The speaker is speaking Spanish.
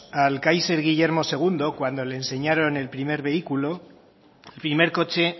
al káiser guillermo segundo cuando le enseñaron el primer vehículo el primer coche